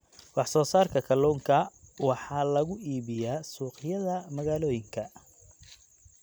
Wax soo saarka kalluunka waxa lagu iibiyaa suuqyada magaalooyinka.